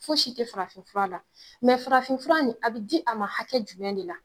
Fosi te farafinfura la mɛ farafinfura nin a be di a ma hakɛ jumɛn de la